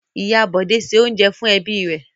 Ìyá Bọ̀dé se oúnjẹ fún ẹbí rẹ̀.